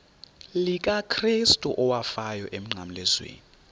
likakrestu owafayo emnqamlezweni